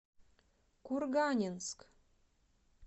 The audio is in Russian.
курганинск